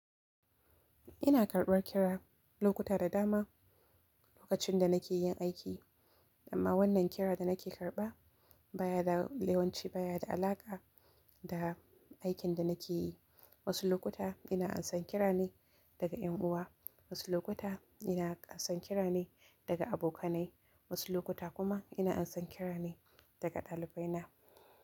Ina karɓar kira lokuta da dama lokacin da nake yin aiki, amma wannan kira da nake karɓa baya da, yawanci baya da alaƙa da aikin da nake yi. Wasu lokuta ina ansan kira ne daga ƴan uwa, wasu lokuta ina ansan kira ne daga abokanai, wasu lokuta kuma ina ansan kira ne daga ɗalibai na.